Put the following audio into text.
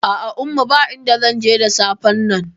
A'a umma, ba inda zanje da safen nan